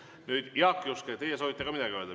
Nüüd, Jaak Juske, teie soovite ka midagi öelda.